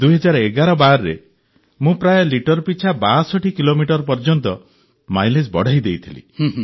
୨୦୧୧୧୨ରେ ମୁଁ ପ୍ରାୟ ଲିଟର ପିଛା ୬୨ କିଲୋମିଟର ପର୍ଯ୍ୟନ୍ତ ମାଇଲେଜ୍ ବଢ଼ାଇ ଦେଇଥିଲି